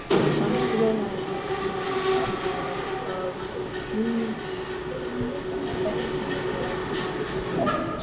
Samt grunaði hana, að það væri heimspekilegs eðlis.